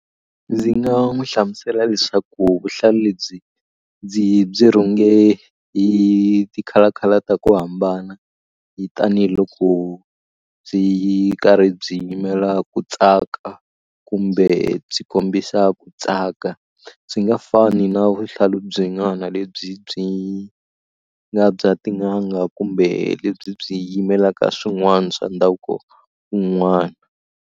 Ndzi nga n'wu hlamusela leswaku vuhlalu lebyi ndzi byi rhunge hi ti-color color ta ku hambana hi tanihiloko byi karhi byi yimela ku tsaka kumbe byi kombisa ku tsaka byi nga fani na vuhlalu byin'wana lebyi byi nga bya tin'anga kumbe lebyi byi yimelaka swin'wana swa ndhavuko wun'wana.